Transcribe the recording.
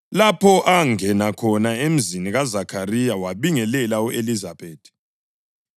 lapho angena khona emzini kaZakhariya wabingelela u-Elizabethi.